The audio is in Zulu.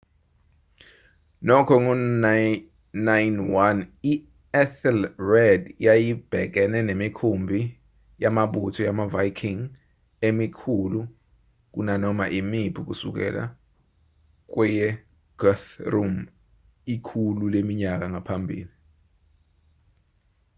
nokho ngo-991 i-ethelred yayibhekene nemikhumbi yamabutho wamaviking emikhulu kunanoma imiphi kusukela kweyeguthrum ikhulu leminyaka ngaphambili